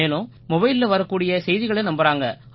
மேலும் மொபைலில வரக்கூடிய செய்திகளை நம்புறாங்க